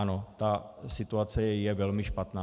Ano, ta situace je velmi špatná.